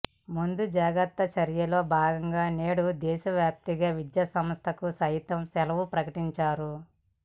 ముందు జాగ్రత్త చర్యల్లో భాగంగా నేడు దేశవ్యాప్తంగా విద్యా సంస్థలకు సైతం సెలవు ప్రకటించారు